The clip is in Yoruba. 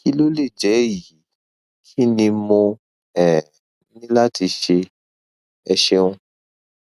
kí ló lè jẹ èyí kí ni mo um ní láti ṣe ẹ ṣeun